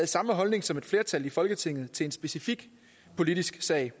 samme holdning som et flertal i folketinget til en specifik politisk sag